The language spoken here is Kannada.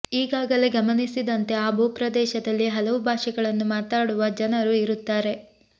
ಈಗಾಗಲೇ ಗಮನಿಸಿದಂತೆ ಆ ಭೂಪ್ರದೇಶದಲ್ಲಿ ಹಲವು ಭಾಷೆಗಳನ್ನು ಮಾತಾಡುವ ಜನರು ಇರುತ್ತಾರೆ